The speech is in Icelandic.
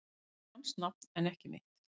Það er hans nafn en ekki mitt